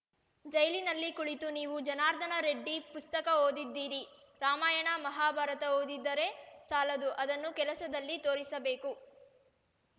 ಜೈಲಿನಲ್ಲಿ ಕುಳಿತು ನೀವು ಜನಾರ್ದನ ರೆಡ್ಡಿ ಪುಸ್ತಕ ಓದಿದ್ದೀರಿ ರಾಮಾಯಣ ಮಹಾಭಾರತ ಓದಿದರೆ ಸಾಲದು ಅದನ್ನು ಕೆಲಸದಲ್ಲಿ ತೋರಿಸಬೇಕು